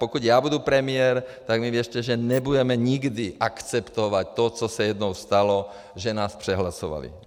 Pokud já budu premiér, tak mi věřte, že nebudeme nikdy akceptovat to, co se jednou stalo, že nás přehlasovali.